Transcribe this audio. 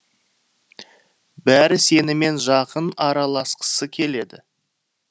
бәрі сенімен жақын араласқысы келеді